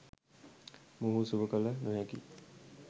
මොවුහු සුව කළ නොහැකි